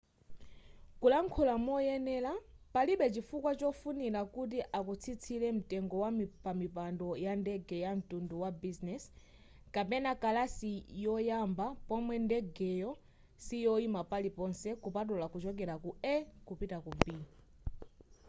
kulankhula moyenera palibe chifukwa chofunira kuti akutsitsire mtengo wa pamipando yandege yamtundu wa bizinezi kapena kalasi yoyamba pomwe ndegeyo siyoyima paliponse kupatula kuchokera ku a kupita ku b